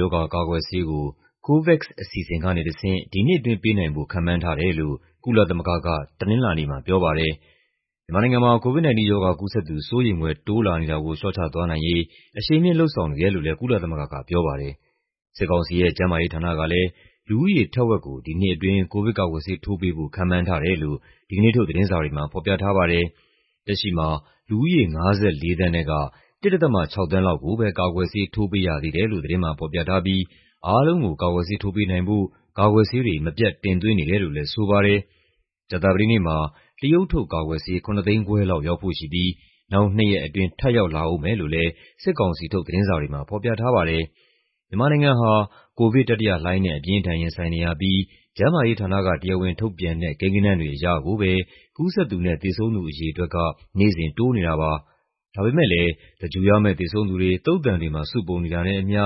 ရောဂါကာကွယ်ဆေးကို COVAX အစီအစဉ်ကနေတဆင့် ဒီနှစ်အတွင်းပေးနိုင်ဖို့ ခန့်မှန်းထားတယ်လို့ ကုလသမဂ္ဂက တနင်္လာနေ့မှာပြောပါတယ်။ မြန်မာနိုင်ငံမှာ COVID-19 ရောဂါကူးစက်သူ စိုးရိမ်ဖွယ် တိုးလာနေတာကို လေ ျှာ့ချသွားနိုင်ရေး အရှိန်မြှင့်လုပ်ဆောင်နေတယ်လို့လည်း ကုလသမဂ္ဂကပြောပါတယ်။ စစ်ကောင်စီရဲ့ ကျန်းမာရေးဌာနကလည်း လူဦးရေထက်ဝက်ကို ဒီနှစ်အတွင်း ကိုဗစ်ကာကွယ်ဆေး ထိုးပေးဖို့ ခန့်မှန်းထားတယ်လို့ ဒီကနေ့ုထုတ် သတင်းစာတွေမှာ ဖော်ပြထားပါတယ်။ လက်ရှိမှာ လူဦးရေ ၅၄ သန်းထဲက ၁.၆ သန်းလောက်ကိုပဲ ကာကွယ်ဆေးထိုးပေးရသေးတယ်လို့ သတင်းမှာဖော်ပြထားပြီး အားလုံးကို ကာကွယ်ဆေးထိုးပေးနိုင်ဖို့ ကာကွယ်ဆေးတွေ မပြတ်တင်သွင်းနေတယ်လို့လည်း ဆိုပါတယ်။ ကြာသပတေးနေ့မှာ တရုတ်ထုတ်ကာကွယ်ဆေး ၇၅၀,၀၀၀ လောက်ရောက်ဖို့ရှိပြီး နောက်နှစ်ရက်အတွင်း ထပ်ရောက်လာဦးမယ်လို့လည်း စစ်ကောင်စီထုတ် သတင်းစာတွေမှာ ဖော်ပြထားပါတယ်။ မြန်မာနိုင်ငံဟာ ကိုဗစ်တတိယလှိုင်းနဲ့ အပြင်းအထန် ရင်ဆိုင်နေရပြီး ကျန်းမာရေးဌာနက တရားဝင်ထုတ်ပြန်တဲ့ ကိန်းဂဏန်းတွေအရကိုပဲ ကူးစက်သူနဲ့ သေဆုံးသူအရေအတွက်က နေ့စဉ်တိုးနေတာပါ။ ဒါပေမယ့်လည်း သဂြိုင်္လ်ရမယ့် သေဆုံးသူတွေ သုသာန်တွေမှာ စုပုံနေတာနဲ့အမ ျှ